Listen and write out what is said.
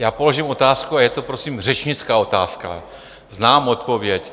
Já položím otázku, a je to prosím řečnická otázka, znám odpověď.